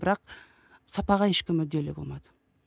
бірақ сапаға ешкім мүдделі болмады